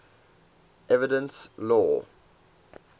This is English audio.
evidence law